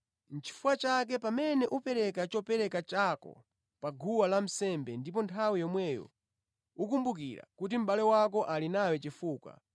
“Nʼchifukwa chake, pamene ukupereka chopereka chako pa guwa lansembe ndipo nthawi yomweyo ukumbukira kuti mʼbale wako ali nawe chifukwa,